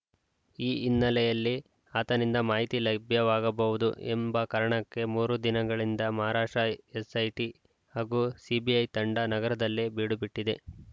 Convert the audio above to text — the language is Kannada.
ಈ ಹಿನ್ನೆಲೆಯಲ್ಲಿ ಆತನಿಂದ ಮಾಹಿತಿ ಲೈಭ್ಯವಾಗಬಹುದು ಎಂಬ ಕಾರಣಕ್ಕೆ ಮೂರು ದಿನಗಳಿಂದ ಮಹಾರಾಷ್ಟ್ರ ಎಸ್‌ಐಟಿ ಹಾಗೂ ಸಿಬಿಐ ತಂಡ ನಗರದಲ್ಲೇ ಬೀಡುಬಿಟ್ಟಿದೆ